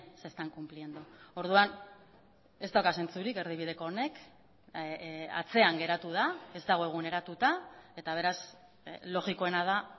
se están cumpliendo orduan ez dauka zentzurik erdibideko honek atzean geratu da ez dago eguneratuta eta beraz logikoena da